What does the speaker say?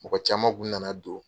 Mɔgɔ caman kun nana don.